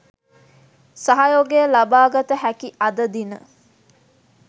සහයෝගය ලබාගත හැකි අද දින